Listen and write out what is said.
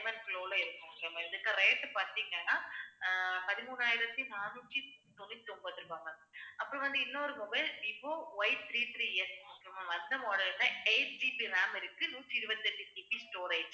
diamond glow ல இருக்கும் இதுக்கு rate பார்த்தீங்கன்னா ஆஹ் பதிமூணாயிரத்தி நானூத்தி தொண்ணூத்தி ஒன்பது ரூபாய் ma'am அப்புறம் வந்து, இன்னொரு mobile Vivo Ythree threeS model ல 8GB RAM இருக்கு நூத்தி இருபத்தி எட்டு GB storage